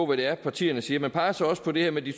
hvad det er partierne siger man peger så også på det her med de